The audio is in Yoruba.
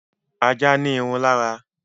Ajá ní irun lára